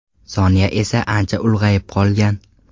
Sonya esa ancha ulg‘ayib qolgan.